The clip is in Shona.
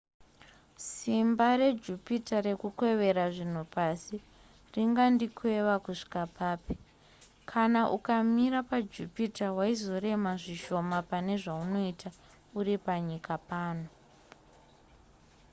simba rejupiter rekukwevera zvinhu pasi ringandikweva kusvika papi kana ukamira pajupiter waizorema zvishoma pane zvaunoita uri panyika pano